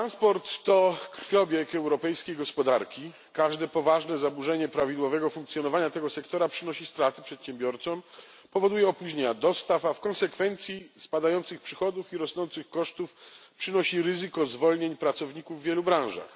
Transport to krwiobieg europejskiej gospodarki. Każde poważne zaburzenie prawidłowego funkcjonowania tego sektora przynosi straty przedsiębiorcom, powoduje opóźnienia dostaw, a w konsekwencji spadające przychody i rosnące koszty, stwarza ryzyko zwolnień pracowników w wielu branżach.